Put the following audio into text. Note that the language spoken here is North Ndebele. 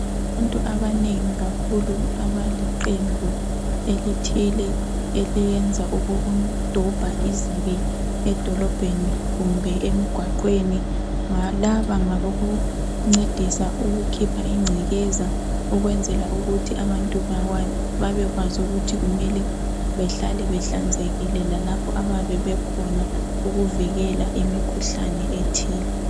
Abantu abanengi kakhulu abaliqembu elithile eliyenza okokudobha izibi edolobheni kumbe emigwaqweni. Laba ngabokuncedisa ukukhipha ingcekeza ukwenzela ukuthi abantu babekwazi ukuthi kumele behlale behlanzekile lapho abakhona ukuvikela imikhuhlane ethile.